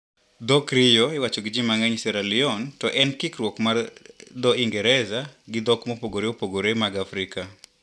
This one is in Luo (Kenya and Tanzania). Dho krio iwacho gi ji mang`eny Sierra leone to en kikruok mar dhouingereza gi dhok mopogre opogre mag Afrika.